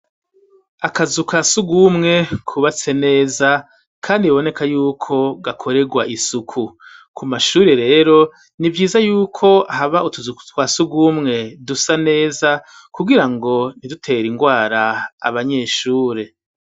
Akazuka si ugumwe kubatse neza, kandi bboneka yuko gakorerwa isuku ku mashuri rero ni vyiza yuko haba utuzuku twa si ugumwe dusa neza kugira ngo ntidutera ingwara abanyeshure.